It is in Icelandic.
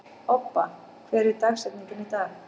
Obba, hver er dagsetningin í dag?